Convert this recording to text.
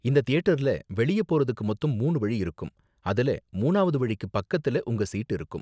இந்த தியேட்டர்ல வெளிய போறதுக்கு மொத்தம் மூணு வழி இருக்கும், அதுல மூணாவது வழிக்கு பக்கத்துல உங்க சீட் இருக்கும்.